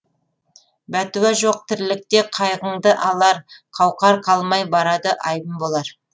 бәтуа жоқ тірлікте қайғыңды алар қауқар қалмай барады айбын болар